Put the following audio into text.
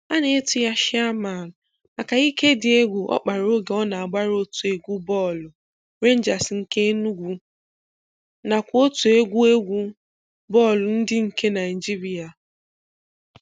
A nà-etu ya 'Chairman' maka ìké dị egwu ọ kpara oge ọ na-agbara otu egwu bọọlụ Rangers nke Enùgwù nakwa otu egwu egwu bọọlụ ndị nke Naịjírịa.